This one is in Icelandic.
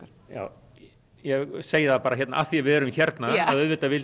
ég segi það bara hérna af því að við erum hérna að auðvitað vildi